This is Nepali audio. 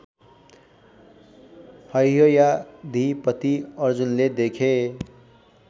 हैहयाधिपति अर्जुनले देखे